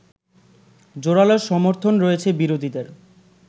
জোরালো সমর্থন রয়েছে বিরোধীদের